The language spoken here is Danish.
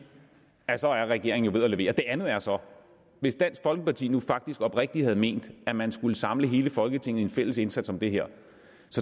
at så er regeringen ved at levere det andet er så hvis dansk folkeparti nu faktisk oprigtigt havde ment at man skulle samle hele folketinget i en fælles indsats om det her